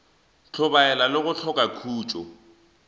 hlobaela le go hloka khutšo